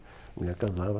A mulher casava...